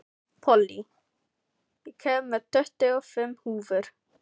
Pollý, ég kom með tuttugu og fimm húfur!